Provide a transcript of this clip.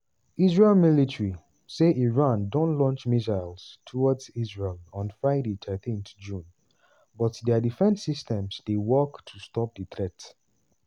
israeli military say iran don launch missiles towards israel on friday thirteen june but dia defence systems dey work to stop di threat.